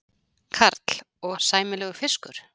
Karl: Og sæmilegur fiskur?